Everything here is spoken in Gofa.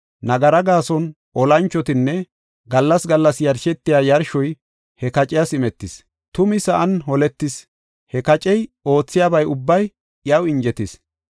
Nagara gaason olanchotinne gallas gallas yarshetiya yarshoy he kaciyas imetis. Tumi sa7an holetis; he kacey oothiyaba ubbay iyaw injetis.